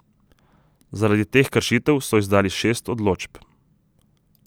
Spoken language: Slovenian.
Zaradi teh kršitev so izdali šest odločb.